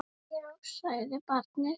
Já, sagði barnið.